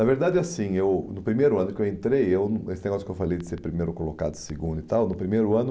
Na verdade, assim, eu, no primeiro ano que eu entrei, eu esse negócio que eu falei de ser primeiro colocado, segundo e tal, no primeiro ano...